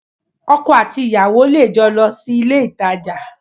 Ọkọ àti ìyàwó lè jọ lọ sí ilé ìtajà